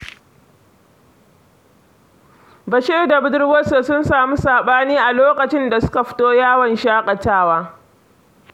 Bashir da budurwarsa sun samu saɓani a lokacin da suka fita yawon shaƙatawa.